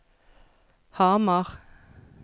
Hamar